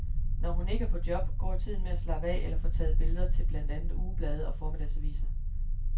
Når hun ikke er på job, går tiden med at slappe af eller få taget billeder til blandt andet ugeblade og formiddagsaviser.